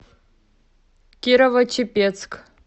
кирово чепецк